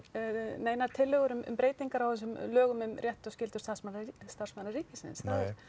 neinar tillögur um breytingar á þessum lögum um rétt og skyldur starfsmanna starfsmanna ríkisins það